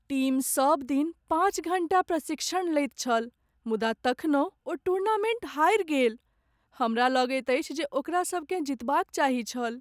Team सबदिन पाँच घण्टा प्रशिक्षण लैत छल मुदा तखनहुँ ओ टूर्नामेन्ट हारि गेल। हमरा लगैत अछि जे ओकरा सबकेँ जितबाक चाही छल।